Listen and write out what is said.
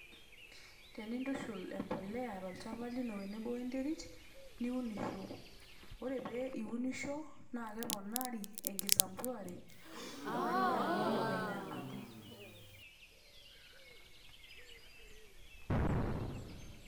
Tenintushul embolea ino tolchamba tenebo oe enterit niunisho . ore piunisho naa keponari enkisampuare oe endaa nilo kenya atum